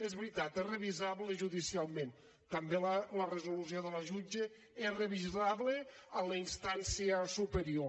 és veritat és revisable judicialment també la resolució de la jutge és revisable en la instància superior